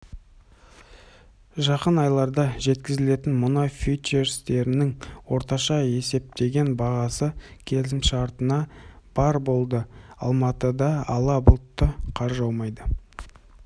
жақын айларда жеткізілетін мұнай фьючерстерінің орташа есептеген бағасы келісімшартына барр болды алматыда ала бұлтты қар жаумайды